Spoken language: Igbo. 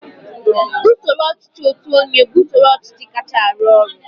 usoro ọchịchị otu onye bụ usoro ọchịchị kacha arụ ọrụ